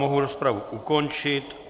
Mohu rozpravu ukončit.